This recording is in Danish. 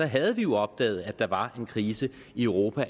havde vi jo opdaget at der allerede var en krise i europa